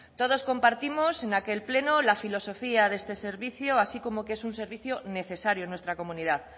todos compartimos en aquel pleno la filosofía de este servicio así como que es un servicio necesario en nuestra comunidad